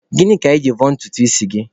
Gịnị ka I ji vọọ ntutu isi gị?